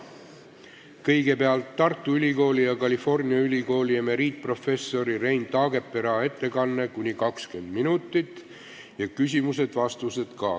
Kõigepealt on Tartu Ülikooli ja California Ülikooli emeriitprofessori Rein Taagepera ettekanne ning küsimused ja vastused .